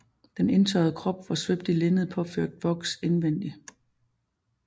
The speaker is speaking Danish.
Den indtørrede krop var svøbt i linned påført voks indvendigt